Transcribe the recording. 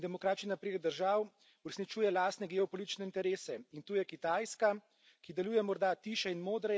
Vse aktivnejša je tudi Turčija, ki bolj kot reformni in demokratični napredek držav uresničuje lastne geopolitične interese.